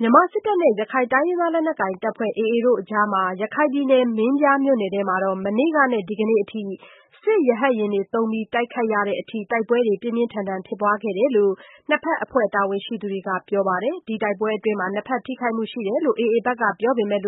မြန်မာစစ်တပ်နဲ့ ရခိုင်လက်နက်ကိုင် AA အဖွဲ့တို့အကြား ရခိုင်ပြည်နယ် မင်းပြားမြို့နယ်ထဲမှာ မနေ့ကနဲ့ ဒီကနေ့အထိ စစ်ရဟတ်ယာဉ်သုံးပြီး တိုက်ခိုက်ရတဲ့အထိ တိုက်ပွဲပြင်းထန်စွာဖြစ်ပွားခဲ့တယ်လို့ နှစ်ဘက်အဖွဲ့တာဝန်ရှိသူတွေက ပြောပါတယ်။ ဒီတိုက်ပွဲအတွင်း နှစ်ဘက် ထိခိုက်မှုတွေ ရှိနေတယ်လို့ AA ဘက်ကပြောဆိုနေပေမဲ့